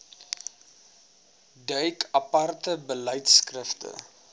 duik aparte beleidskrifte